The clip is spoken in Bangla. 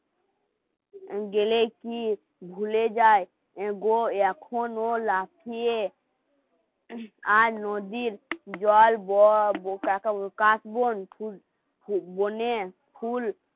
গেলে কি ভুলে যায়. অ্যা এখন ও লাফিয়ে আর কাশবন নদীর জল